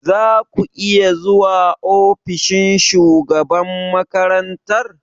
Za ku iya zuwa ofishin shugaban makarantar?